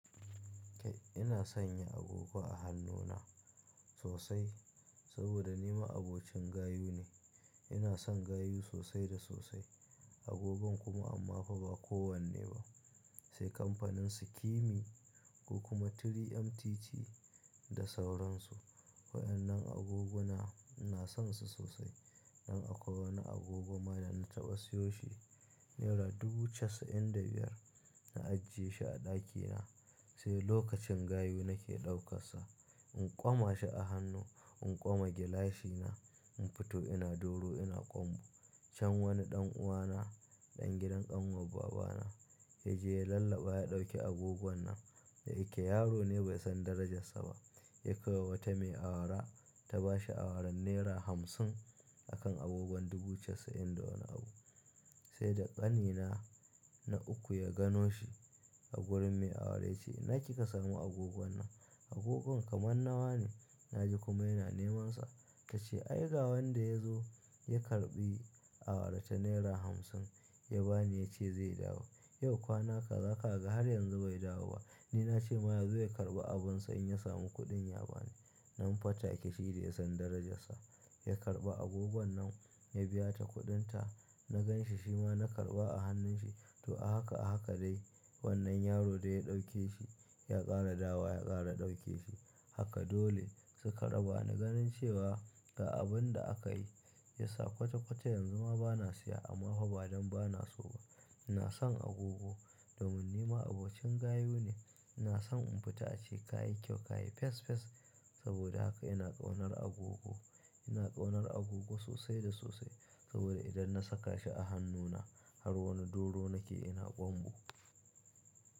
Kai ina sanya agogo a hannuna sosai saboda nima abokin gayu ne. Ina son gayu sosai da sosai agogon kuma amma fa ba kowanne ba. Sai kamfanin Sukimi ko kuma 3MTT da sauransu. Waɗannan agogona ina son su sosai. Nan akwai wani agogo ma da na taɓa siyo shi nera dubu casa'in da biyar. Na ajiye shi a ɗakina sai lokacin gayu nake ɗauka sa. In ƙoma shi a hannu in ƙoma gilashi na, in fito ina doro ina ƙwanbo Can wani ɗan'uwana, ɗan gidan ƙanwar baba na ya je ya lallaɓa ya ɗauki agogon nan. Da yake yaro ne bai san darajarsa ba ya kai wa wata mai awara ta bashi awaran naira hamsin a kan agogon dubu casa'in da wani abu. Sai da ƙanina na uku ya gano shi a wurin me awara ya ce, "ina kika samu agogon nan? Agogon kamar na wa ne?" Na ji kuma yana neman sa. Ta ce, "Ai ga wanda ya zo ya karɓi awara ta naira hamsin ya ba ni ya ce zai dawo. Yau kwana kaza ka ga har yanzu bai dawo ba." Ni na ce ma yazo ya karɓa abinsa in ya samu kuɗin ya ba ni. Nan fa ta ƙi shi da ya san darajarsa. Ya karɓa agogon nan ya biya ta kuɗin ta. Na gan shi shi ma na karɓa a hannun shi to a haka a haka dai. Wannan yaro da ya ɗauke shi ya ƙara dawa ya ƙara ɗauke shi. Haka dole suka raba na ganin cewa ga abin da aka yi, ya sa kwata-kwata yanzu ma ba na siya amma kuma ba don ba na so ba. Ina son agogo domin ni ma'abocin gayu ne. Ina son in fita ace kayi kyau, kayi fes fes saboda haka ina ƙaunar agogo. Ina ƙaunar agogo sosai da sosai saboda idan na saka shi a hannuna har wani doro nake ina ƙwanbu.